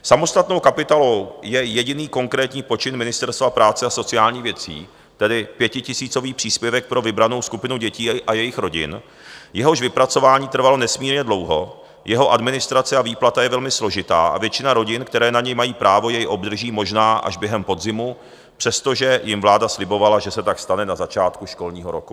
Samostatnou kapitolou je jediný konkrétní počin Ministerstva práce a sociálních věcí, tedy pětitisícový příspěvek pro vybranou skupinu dětí a jejich rodin, jehož vypracování trvalo nesmírně dlouho, jeho administrace a výplata je velmi složitá a většina rodin, které na něj mají právo, jej obdrží možná až během podzimu, přestože jim vláda slibovala, že se tak stane na začátku školního roku.